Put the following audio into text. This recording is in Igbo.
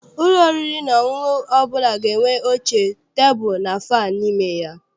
Ụlọ oriri na ọṅụṅụ ọbụla na-enwe oche, tebulu and fannụ n'ime ya.